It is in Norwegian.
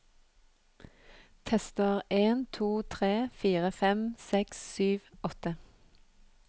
Tester en to tre fire fem seks sju åtte